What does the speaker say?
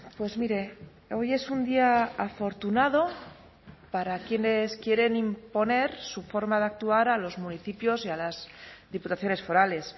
pues mire hoy es un día afortunado para quienes quieren imponer su forma de actuar a los municipios y a las diputaciones forales